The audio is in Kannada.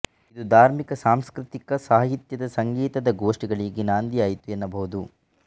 ಇದು ಧಾರ್ಮಿಕ ಸಾಂಸ್ಕೃತಿಕ ಸಾಹಿತ್ಯಕ ಸಂಗೀತದ ಗೋಷ್ಠಿಗಳಿಗೆ ನಾಂದಿಯಾಯ್ತು ಎನ್ನಬಹುದು